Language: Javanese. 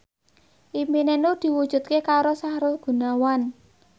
impine Nur diwujudke karo Sahrul Gunawan